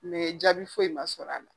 jaabi foyi ma sɔrɔ a la.